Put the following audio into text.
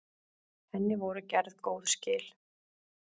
Henni voru gerð góð skil.